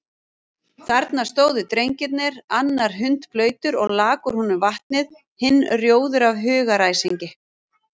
Þarna stóðu drengirnir, annar hundblautur og lak úr honum vatnið, hinn rjóður af hugaræsingi.